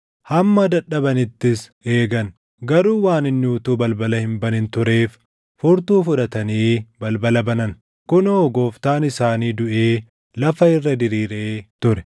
Hamma dadhabanittis eegan; garuu waan inni utuu balbala hin banin tureef furtuu fudhatanii balbala banan. Kunoo gooftaan isaanii duʼee lafa irra diriiree ture.